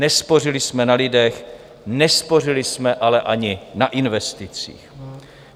Nespořili jsme na lidech, nespořili jsme ale ani na investicích.